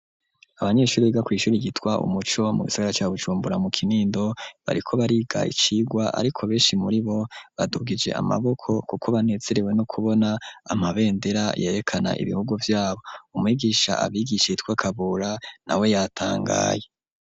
Abanyeshuri biga kw'ishuri ryitwa Umuco mu gisagara ca Bujumbura mu Kinindo bariko bariga icirwa ariko beshi muribo badugije amaboko kuko banezerewe no kubona amabendera yerekana ibihugu vyabo umwigisha abigisha yitwa Kabura na we yatangaye.